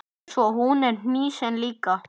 Svo er hann hnýsinn líka.